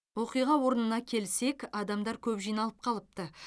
оқиға орнына келсек адамдар көп жиналып қалыпты